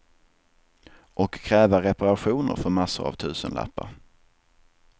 Och kräva reparationer för massor av tusenlappar.